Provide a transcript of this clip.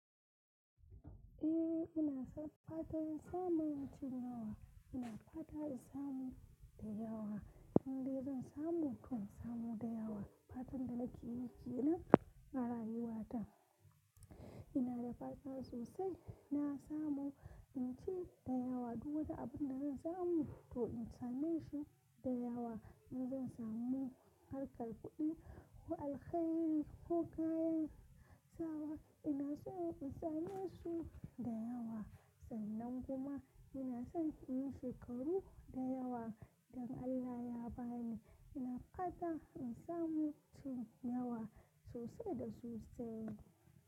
Eh ina son fatan samun cin yawa, ina fatan in samu da yawa. Idan dai zan samu to in samu da yawa. Fatan da nake yi kenan arayuwa ta. Ina da fata sosai na samu in ci da yawa duk wani abun da zan samu to in same shi da yawa. In zan samu harkar kuɗi ko alkhairi ko kayan sawa ina so in sane su da yawa. Sannan kuma ina son in yi shekaru da yawa idan Allah ya bani. Ina fata in samu tun yawa sosai da sosai.